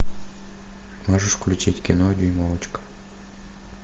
можешь включить кино дюймовочка